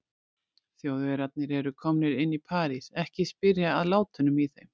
Þjóðverjarnir eru komnir inn í París, ekki að spyrja að látunum í þeim.